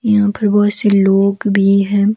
यहां पर बहोत से लोग भी हैं।